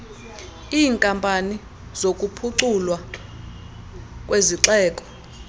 iinkampani zokuphuculwa kwezixeko